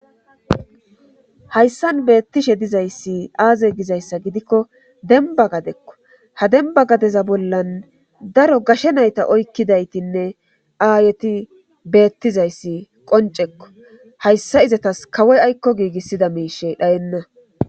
Hayssan beettishe dizayssi aaze gizayssa gidikko demba gadekko ha demba gadeza bollan daro gashe nayta oykkidaytinne aayeti beettizayssi qoncekko hayssa izatas kawoy aykko giigissida miishe dhayenna.